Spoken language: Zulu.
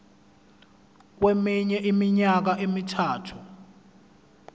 kweminye iminyaka emithathu